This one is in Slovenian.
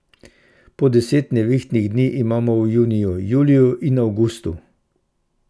Po deset nevihtnih dni imamo v juniju, juliju in avgustu.